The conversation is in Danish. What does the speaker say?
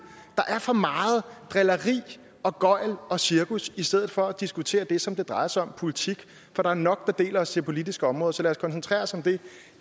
der er for meget drilleri og gøgl og cirkus i stedet for at man diskuterer det som det drejer sig om politik for der er nok der deler os på det politiske område så lad os koncentrere os om det